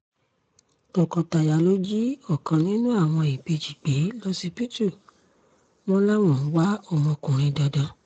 tọkọ-taya lóò jí ọ̀kan nínú àwọn ìbejì gbé lọsibítù wọn làwọn ń wá ọmọkùnrin dandan